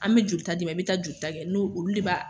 An bɛ jolita d'i ma, i bɛ taa jolita kɛ n'o, olu de b'a